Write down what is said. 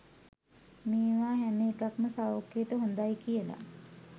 මේවා හැම එකක්ම සෞඛ්‍යයට හොඳයි කියල